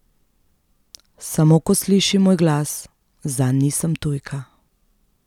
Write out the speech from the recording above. Samo ko sliši moj glas, zanj nisem tujka.